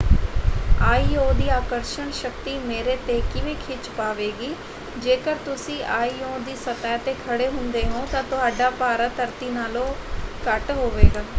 IO. ਦੀ ਆਕਰਸ਼ਣ ਸ਼ਕਤੀ ਮੇਰੇ ‘ਤੇ ਕਿਵੇਂ ਖਿੱਚ ਪਾਵੇਗੀ? ਜੇਕਰ ਤੁਸੀਂ ਆਇ.ਓ. ਦੀ ਸਤਹ 'ਤੇ ਖੜੇ ਹੁੰਦੇ ਹੋ ਤਾਂ ਤੁਹਾਡਾ ਭਾਰਾ ਧਰਤੀ ਨਾਲੋਂ ਘੱਟ ਹੋਵੇਗਾ।